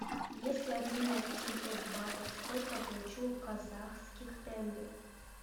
если обменять восемьсот батов сколько я получу казахских тенге